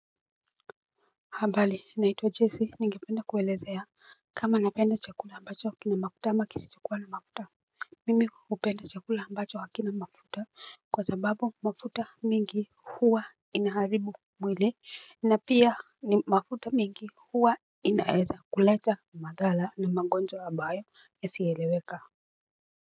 Habari naitwa Jesi ningependa kuelezea kama napenda chakula ambacho kina mafuta ama kisichokua na mafuta Mimi hupenda chakula ambacho hakina mafuta kwa sababu mafuta mingi huwa inaharibu mwili na pia ni mafuta mingi huwa inaeza kuleta madhara na magonjwa ambayo yasiyoeleweka.